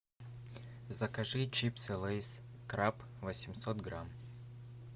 закажи чипсы лейс краб восемьсот грамм